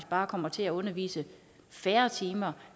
bare kommer til at undervise færre timer